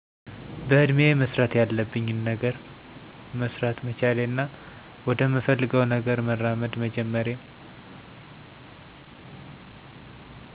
በእድሜየ መስራት ያለብኝን ገነር መሰራት መቻሌና ወደምፈልገውነገር መራመድ መጀመሬ